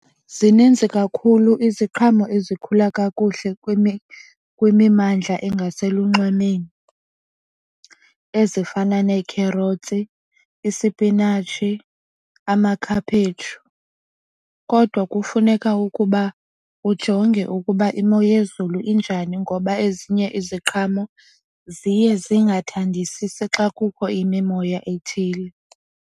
Zininzi kakhulu iziqhamo ezikhula kakuhle kwimimmandla engaselunxwemeni ezifana nekherothi, izipinatshi amakhaphetshu. Kodwa kufuneka ukuba ujonge ukuba imo yezulu injani ngoba ezinye iziqhamo ziye zingathandisisi xa kukho imimoya ethile.